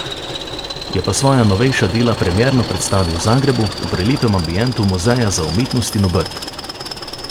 Je pa svoja novejša dela premierno predstavil v Zagrebu, v prelepem ambientu Muzeja za umetnost in obrt.